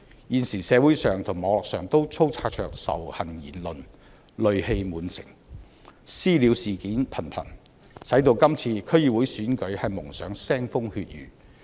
現時社會和網絡上充斥着仇恨言論，戾氣滿城，"私了"事件頻頻，為今次區議會選舉蒙上腥風血雨。